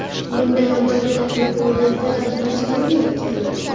Bunday amaliyot Yaponiyada majburiy ekan.